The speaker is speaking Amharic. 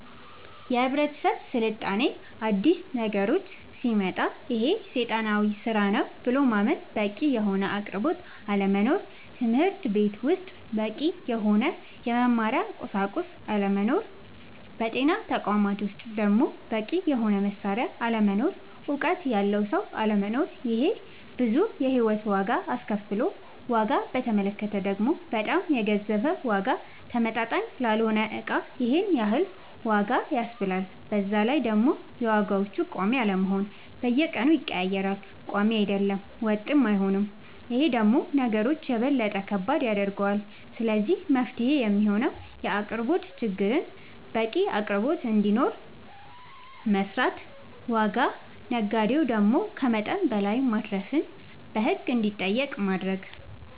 የህብረተሰብ ስልጣኔ አዲስ ነገሮች ሲመጣ ይሄ ሴጣናዊ ስራ ነው ብሎ ማመን በቂ የሆነ አቅርቦት አለመኖር ትምህርትቤት ውስጥ በቂ የሆነ የመማሪያ ቁሳቁስ አለመኖር በጤና ተቋማት ውስጥ ደሞ በቂ የሆነ መሳሪያ አለመኖር እውቀት ያለው ሰው አለመኖር ይሄ ብዙ የሂወት ዋጋ አስከፍሎል ዋጋ በተመለከተ ደሞ በጣም የገዘፈ ዋጋ ተመጣጣኝ ላልሆነ እቃ ይሄንን ያክል ዋጋ ያስብላል በዛላይ ደሞ የዋጋዎች ቆሚ አለመሆን በየቀኑ ይቀያየራል ቆሚ አይደለም ወጥም አይሆንም ይሄ ደሞ ነገሮች የበለጠ ከባድ ያደርገዋል ስለዚህ መፍትሄው የሚሆነው የአቅርቦት ችግርን በቂ አቅርቦት እንዲኖር መስራት ዋጋ ነጋዴው ደሞ ከመጠን በላይ ማትረፍን በህግ እንዲጠየቅ ማረግ